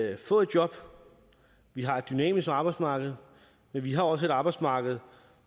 at få et job vi har et dynamisk arbejdsmarked men vi har også et arbejdsmarked